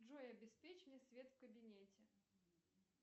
джой обеспечь мне свет в кабинете